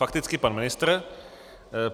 Fakticky pan ministr.